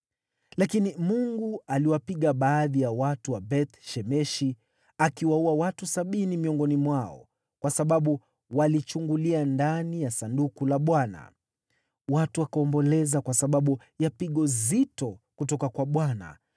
Lakini Mungu aliwapiga baadhi ya watu wa Beth-Shemeshi, akiwaua watu sabini miongoni mwao kwa sababu walichungulia ndani ya Sanduku la Bwana . Watu wakaomboleza kwa sababu ya pigo zito kutoka kwa Bwana ,